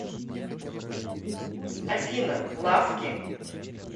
афина лаффки